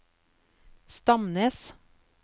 Stamnes